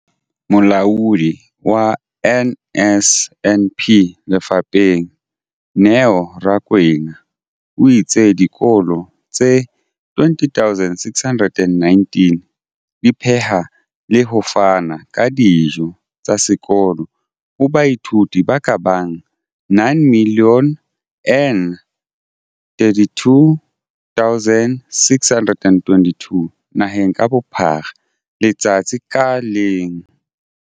Molaodi wa NSNP lefapheng, Neo Rakwena, o itse dikolo tse 20 619 di pheha le ho fana ka dijo tsa sekolo ho baithuti ba ka bang 9 032 622 naheng ka bophara letsatsi ka leng.